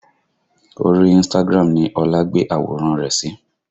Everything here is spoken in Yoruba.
Orí Instagram ni Ọlá gbé àwòrán rẹ̀ sí